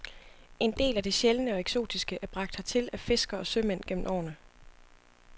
En del af det sjældne og eksotiske er bragt hertil af fiskere og sømænd gennem årene.